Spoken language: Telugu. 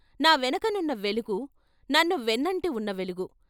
నా వెనకనున్న వెలుగు, నన్ను వెన్నంటి ఉన్న వెలుగు.